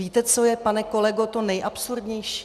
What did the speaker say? Víte, co je, pane kolego, to nejabsurdnější?